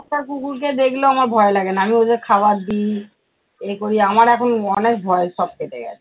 রাস্তার কুকুর কে দেখলেও আমার ভয় লাগে না, আমি ওদের খাবার দি, এ করি আমার এখন অনেক ভয় সব কেটে গেছে।